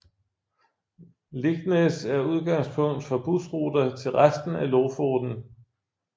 Leknes er udgangspunkt for bussruter til resten af Lofoten